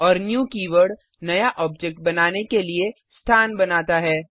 और new keyword नया object बनाने के लिए स्थान बनाता है